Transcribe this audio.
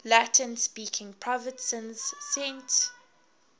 latin speaking provinces sent